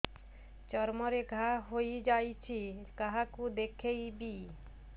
ଚର୍ମ ରେ ଘା ହୋଇଯାଇଛି କାହାକୁ ଦେଖେଇବି